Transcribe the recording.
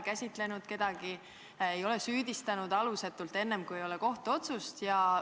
Kas te ei ole kedagi süüdistanud alusetult, kui ei ole kohtuotsust?